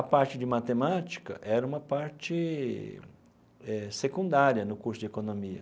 A parte de matemática era uma parte eh secundária no curso de economia.